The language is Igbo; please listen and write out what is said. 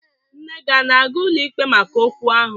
Nne ana-aga ụlọikpe maka okwu ahụ?